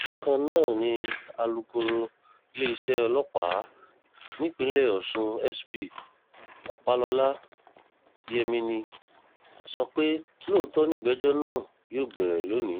bákan náà ni alukoro iléeṣẹ́ ọlọ́pàá nípìnlẹ̀ ọ̀sùn s p ọ̀pálọ́lá yẹmini sọ pé lóòótọ́ nìgbẹ́jọ́ náà yóò bẹ̀rẹ̀ lónìí